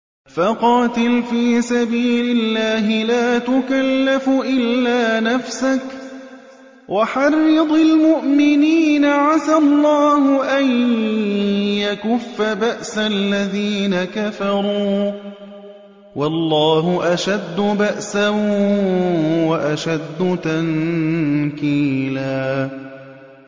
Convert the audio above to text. فَقَاتِلْ فِي سَبِيلِ اللَّهِ لَا تُكَلَّفُ إِلَّا نَفْسَكَ ۚ وَحَرِّضِ الْمُؤْمِنِينَ ۖ عَسَى اللَّهُ أَن يَكُفَّ بَأْسَ الَّذِينَ كَفَرُوا ۚ وَاللَّهُ أَشَدُّ بَأْسًا وَأَشَدُّ تَنكِيلًا